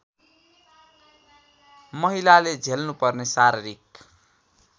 महिलाले झेल्नुपर्ने शारीरिक